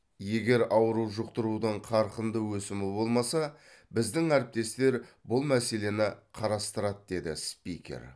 егер ауру жұқтырудың қарқынды өсімі болмаса біздің әріптестер бұл мәселені қарастырады деді спикер